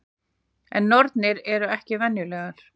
En nornir eru ekki venjulegar.